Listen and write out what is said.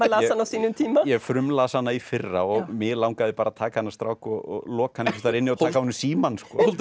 á sínum tíma ég frumlas hana í fyrra og mig langaði bara að taka þennan strák og loka hann staðar inni og taka af honum símann